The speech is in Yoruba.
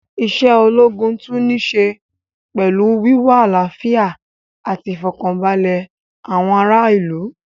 Isé ológun tún ní í ṣe pẹlú wíwá àlàfíà ati ìfọ̀kaǹbalẹ̀ àwọn ará ìlú